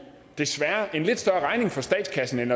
desværre en lidt større regning for statskassen end